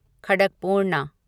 Khadakpurna